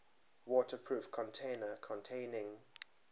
waterproof container containing